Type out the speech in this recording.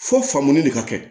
Fo faamu de ka kɛ